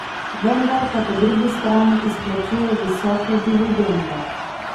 Vendar pa po drugi strani izplačuje visoke dividende.